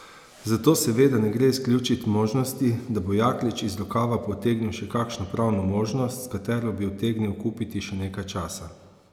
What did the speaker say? Zato seveda ne gre izključiti možnosti, da bo Jaklič iz rokava potegnil še kakšno pravno možnost, s katero bi utegnil kupiti še nekaj časa.